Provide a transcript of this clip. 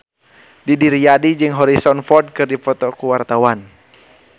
Didi Riyadi jeung Harrison Ford keur dipoto ku wartawan